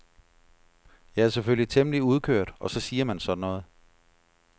Jeg er selvfølgelig temmelig udkørt og så siger man sådan noget.